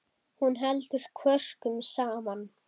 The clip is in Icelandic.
Hún heldur kvörkum saman.